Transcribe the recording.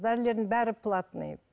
дәрілердің бәрі платный